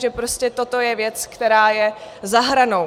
Že prostě toto je věc, která je za hranou?